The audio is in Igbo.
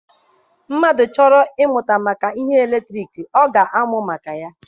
Mmadụ chọrọ ịmata ihe gbasara eletriki, ọ ga-amụ maka ya.